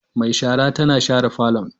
Mai shara tana share falon.